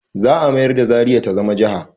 Za a mayar da zaria ta zama jaha